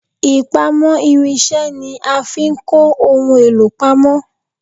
Ipamo irinse ni a fi ń kọ ohun èlò pamọ